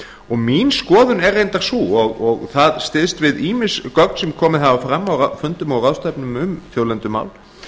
og mín skoðun er reyndar sú og það styðst við ýmis gögn sem komið hafa fram á fundum og ráðstefnum um þjóðlendumál